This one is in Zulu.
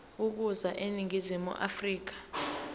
ukuza eningizimu afrika